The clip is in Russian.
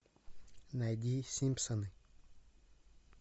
найди симпсоны